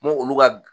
N ko olu ka